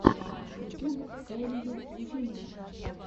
ютюб элия ефимова